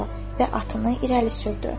və atını irəli sürdü.